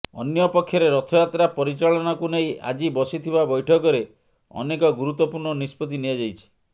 ଅନ୍ୟପକ୍ଷରେ ରଥଯାତ୍ରା ପରିଚାଳନାକୁ ନେଇ ଆଜି ବସିଥିବା ବୈଠକରେ ଅନେକ ଗୁରତ୍ୱପୂର୍ଣ୍ଣ ନିଷ୍ପତ୍ତି ନିଆଯାଇଛି